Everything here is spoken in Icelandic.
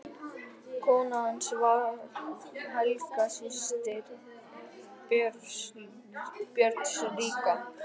Kona hans var Helga, systir Björns ríka.